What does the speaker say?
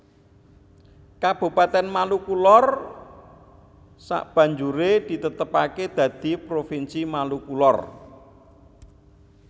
Kabupatèn Maluku Lor sabanjuré ditetepaké dadi Provinsi Maluku Lor